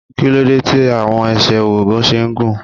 Kíló dé tí àwọn ẹsẹ̀ Ògòǹgò ṣe gùn?